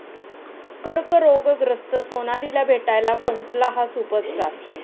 कर्करोगग्रस्त सोनालीला भेटायला पोहोचला 'हा' सुपरस्टार